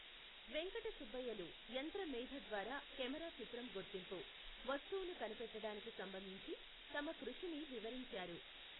వెంకట సుబ్బయ్యలు యంత్ర మేథ ద్వారా కెమెరా చిత్రం గుర్తింపు, వస్తువును కనిపెట్టడానికి సంబందించి తమ కృషిని వివరించారు.